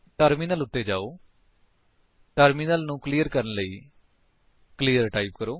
terminal ਉੱਤੇ ਜਾਓ terminal ਨੂੰ ਕਲਿਅਰ ਕਰਨ ਲਈ ਕਲੀਅਰ ਟਾਈਪ ਕਰੋ